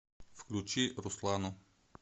включи руслану